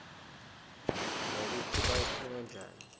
mekutsi bayitfunge njari